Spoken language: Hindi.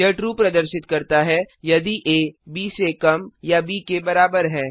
यह ट्रू प्रदर्शित करता है यदि आ ब से कम या के बराबर है